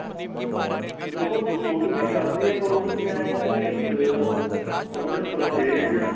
ਦੇਖੋ ਛੁਟ ਵੀ ਸਕਦੀ ਏ ਪਰ ਉਹਦੇ ਚ ਏ ਏ ਬੀ ਆ ਆਪਣਾ ਪਰਹੇਜ